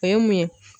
O ye mun ye